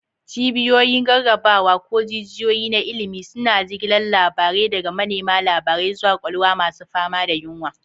Cibiyoyin rarrabawa, ko jijiyoyi na ilimi, suna jigilar labarai daga manema labarai zuwa kwakwalwa masu fama da yunwa.